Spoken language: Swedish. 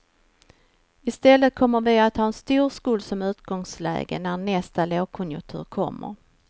I stället kommer vi att ha en stor skuld som utgångsläge när nästa lågkonjunktur kommer.